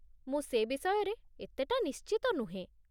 ମୁଁ ସେ ବିଷୟରେ ଏତେଟା ନିଶ୍ଚିତ ନୁହେଁ।